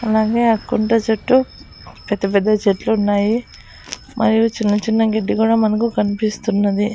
అలాగే ఆ కుండ సుట్టూ పెద్దపెద్ద చెట్లున్నాయి పైన చిన్న చిన్న గెడ్డి కూడా మనకు కన్పిస్తున్నది.